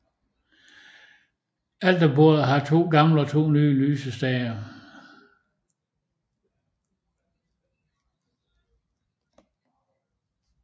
Alterbordet har to gamle og to nye lysestager